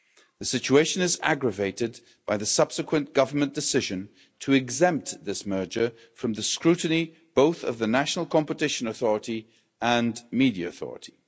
The situation has been aggravated by the subsequent Government decision to exempt this merger from the scrutiny of both the national competition authority and the media authority.